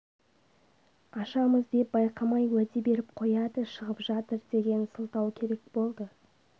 ашамыз деп байқамай уәде беріп қояды шығып жатыр деген сылтау керек болды